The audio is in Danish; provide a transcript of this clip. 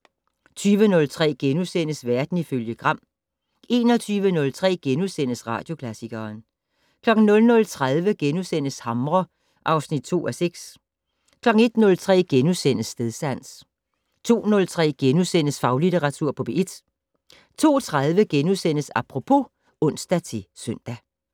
20:03: Verden ifølge Gram * 21:03: Radioklassikeren * 00:30: Hamre (2:6)* 01:03: Stedsans * 02:03: Faglitteratur på P1 * 02:30: Apropos *(ons-søn)